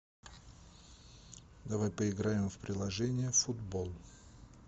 давай поиграем в приложение футбол